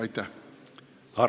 Aitäh!